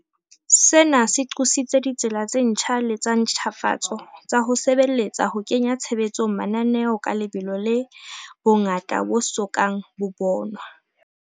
Sena se qositse ditsela tse ntjha le tsa ntjhafatso tsa ho sebeletsa ho kenya tshebetsong mananeo ka lebelo le bongata bo so kang bo bonwa.